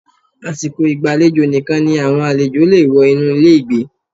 Àsìkò ìgbàlejò nìkan ni àwọn àlejò le è wọ inú ilé ìgbé